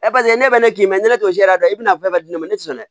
ne bɛ ne k'i ma ne t'o jɛ dɛ i bɛna fɛn bɛɛ di ne ma ne tɛ sɔn dɛ